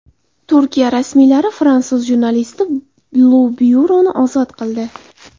Turkiya rasmiylari fransuz jurnalisti Lu Byuroni ozod qildi.